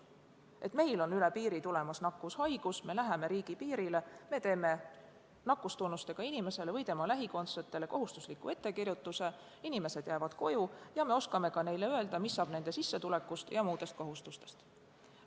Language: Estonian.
Näiteks kui meil on üle piiri tulemas nakkushaigus, siis me läheme riigipiirile, teeme nakkustunnustega inimesele või tema lähikondsetele kohustusliku ettekirjutuse, need inimesed jäävad koju ja me oskame neile öelda, mis saab nende sissetulekust ja muudest kohustustest.